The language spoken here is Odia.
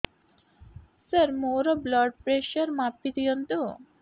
ସାର ମୋର ବ୍ଲଡ଼ ପ୍ରେସର ମାପି ଦିଅନ୍ତୁ